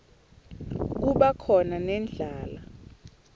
kuba khona nendlala